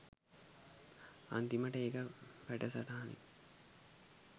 අන්තිමට ඒක වැඩසටහනින්